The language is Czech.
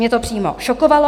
Mě to přímo šokovalo.